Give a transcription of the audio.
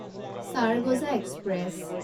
Chargoja express